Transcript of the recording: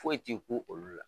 Foyi t'i ku olu la.